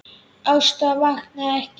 Ásta vaknaði ekki.